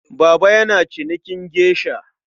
Baba yana cinikin geisha.